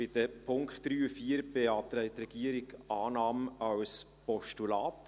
Bei den Punkten 3 und 4 beantragt die Regierung Annahme als Postulat.